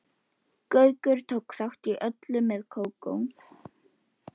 Hemmi er bara ekki sterkari karakter en þetta.